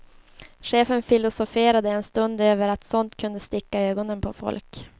Chefen filosoferade en stund över att sånt kunde sticka i ögonen på folk.